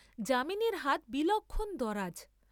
যামিনীর হাত বিলক্ষণ দরাজ।